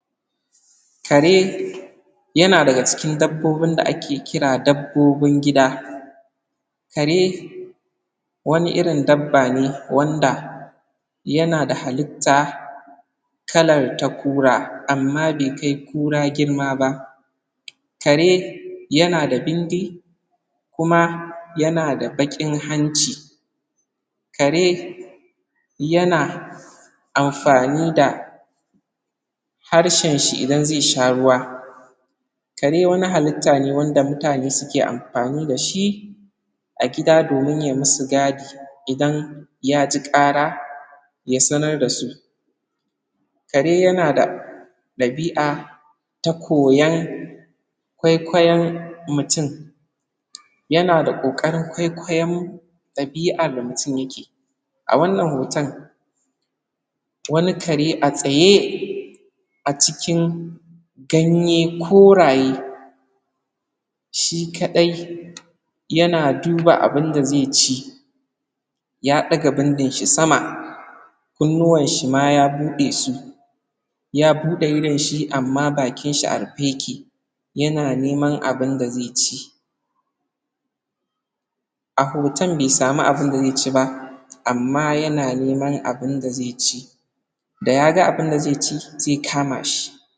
Kare, yana daga cikin dabboƙ bin da ake kira dabbo bin gida, kare, wani irin dabba ne wanda, yana da hallitta, kalar ta kura amma bai kai kura girma ba, kare yana da bindi, kuma yanada bakin hanci, kare yana amfani da, harshen shi idan zai sha ruwa, kare wani hallitta ne wanda mutane suke amfani dashi, a gida domin ye musu gadi idan ya ji kara ya sanar dasu, kare kare yana da dabia, ta koyon kwaikwayon mutun, yana da ƙoƙarin kwaikwayon, dabi'ar da mutin ya ke, a wannan hoton, wani kare a tsaye, acikin, ganye koraye, shi ka ɗai, yana duba abinda zaici, ya daga bindin shi sama, kunnuwan shi ma ya buɗe su ya bude idon shi amma bakin shi a rufe yake, ya na neman abin da zai ci, a hoton bai samu abinda zai ci ba, amma ya na neman abinda zai ci, da yaga abinda zai ci zai kama shi.